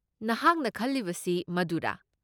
ꯅꯍꯥꯛꯅ ꯈꯜꯂꯤꯕꯁꯤ ꯃꯗꯨꯔꯥ?